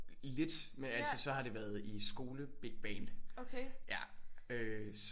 Lidt men altså så har det været i skolebigband ja så øh